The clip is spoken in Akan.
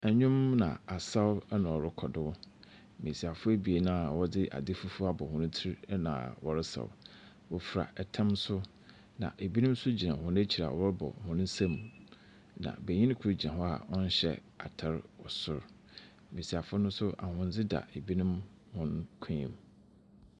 Ndwom na asaw na ɔorokɔ do. Mbasiafo ebien a wɔdze adze fufuw abɔ hɔn tsir na wɔresaw. Wofura tam so, na binom so gyina hɔn ekyir a wɔrobɔ hɔn nsamu. Na banyin kor gyina hɔ a ɔnnhyɛ atar wɔ sor. Mbasiafo no so, ahondze da binom hɔn kɔnmu.